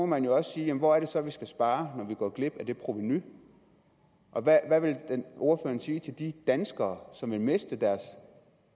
man også sige hvor det så er vi skal spare når vi går glip af det provenu og hvad vil ordføreren sige til de danskere som ville miste deres